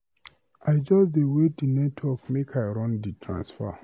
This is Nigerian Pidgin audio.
I just dey wait di network make I run di transfer.